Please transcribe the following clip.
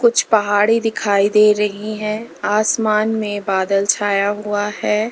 कुछ पहाड़ी दिखाई दे रही है आसमान में बादल छाया हुआ है।